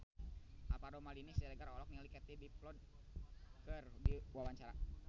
Alvaro Maldini Siregar olohok ningali Katie Dippold keur diwawancara